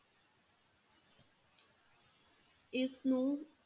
ਇਸਨੂੰ,